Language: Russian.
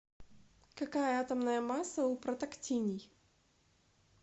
какая атомная масса у протактиний